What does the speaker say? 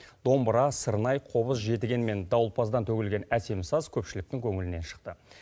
домбыра сырнай қобыз жетіген мен дауылпаздан төгілген әсем саз көпшіліктің көңілінен шықты